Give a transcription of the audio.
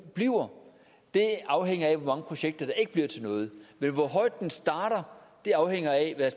bliver afhænger af hvor mange projekter der ikke bliver til noget men hvor højt det starter afhænger af hvad